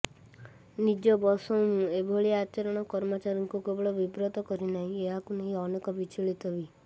ନିଜ ବସ୍ଙ୍କ ଏଭଳି ଆଚରଣ କର୍ମଚାରୀଙ୍କୁ କେବଳ ବିବ୍ରତ କରି ନାହିଁ ଏହାକୁ ନେଇ ଅନେକ ବିଚଳିତ ବି